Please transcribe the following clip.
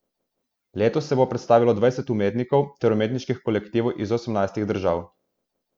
Letos se bo predstavilo dvajset umetnikov ter umetniških kolektivov iz osemnajstih držav.